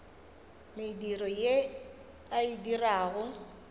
mediro ye a e dirago